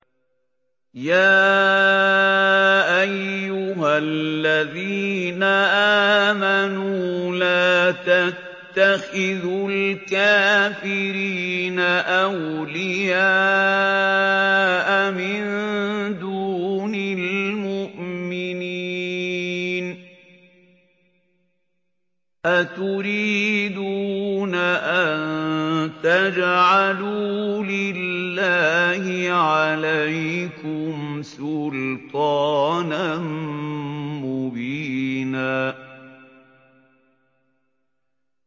يَا أَيُّهَا الَّذِينَ آمَنُوا لَا تَتَّخِذُوا الْكَافِرِينَ أَوْلِيَاءَ مِن دُونِ الْمُؤْمِنِينَ ۚ أَتُرِيدُونَ أَن تَجْعَلُوا لِلَّهِ عَلَيْكُمْ سُلْطَانًا مُّبِينًا